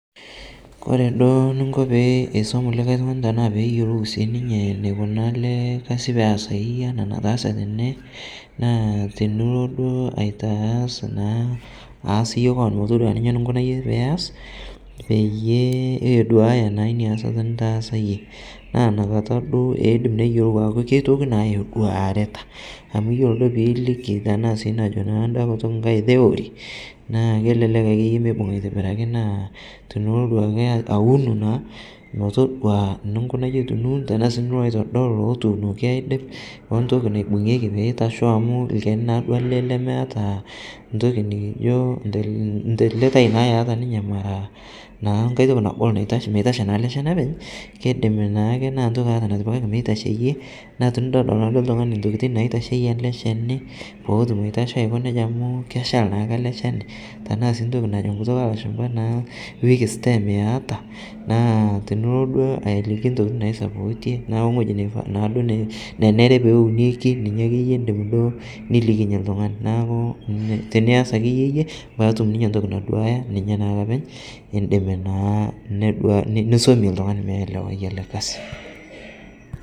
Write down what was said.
Kore duo ninko peisom likai tung'ani tanaa peeyolou sii ninyee neikuna alee kazi peesai anaa netaase tene naa tinilo duo aitaas naa aas yie koon motodua ninye ninkuna yie piyas peyie eduaya naa inia asata nitaasa yie, naa inia kata duo eidim neyelou aaku keitoki naa eduaritaa amu iyolo duo pilikii tanaa sii najo anda kutuk ng'ai theory naa kelelek akeye meibung' aitibirakii naa tinilo duake awun naa metodua nunkuna yie tunuun tanaa sii nilo aitodol lotuunoki aidip ontoki naibung'eki meitasho amu lkeni naaduo ale lemeata ntoki nikijo ntilitai naa eata ninyee maraa naa ng'ai toki nagol naitashe meitashe naa ale cheni apeny, keidim naake naa ntokia eata natipikakii meitasheyee naa tinidoldol naduo ltung'ani ntokitin naitasheye alee ckeni pootum aitasho aiko neja amu keshal naake alee chenii tanaa sii ntoki najo nkutuk elashumpa weak stem eata naa tinilo duo alikii ntokitin naisapotie naa ong'oji neifaa naaduo nenere pounekii ninye akeye inim duo indim nilikinye ltung'ana naaku tiniaz akeye yie peetum ninye ntoki naduaya ninye naake apeny indim naa nedua nisomie ltung'ani meelewai ale kazi.